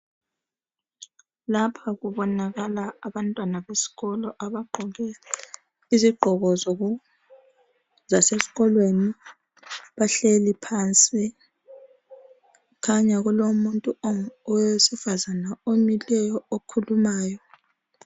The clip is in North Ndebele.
Lapha kubonakala abantwana besikolo abagqoke izigqoko zoku zasesikolweni bahleli phansi kukhanya kulomuntu owesifazana omileyo okhulumayo.